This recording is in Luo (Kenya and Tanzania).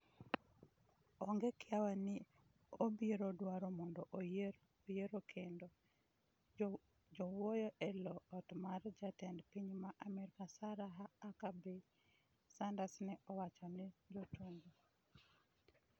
Onge kiawa ni obiro dwaro mondo oyiero kendo, jawuoyo e lo ot marach jatend piny ma amerka Sarah Huckabee Sanders, ne owacho ne jotugo.